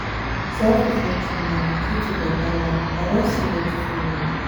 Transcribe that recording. self reflection na di key to better life i don see where to follow now.